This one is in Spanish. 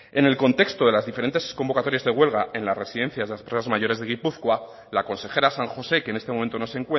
en el contexto de las diferentes convocatorias de huelga en las residencias de las personas mayores de gipuzkoa la consejera san josé que en este momento no se